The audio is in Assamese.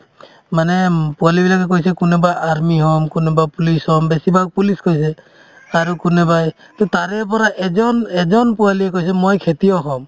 মানে উম পোৱলিবিলাকে কৈছে কোনোবাই army হ'ম, কোনোবা police হ'ম বেছিভাগ police কৈছে আৰু কোনোবাই to তাৰেপৰাই এজন এজন পোৱালিয়ে কৈছে মই খেতিয়ক হ'ম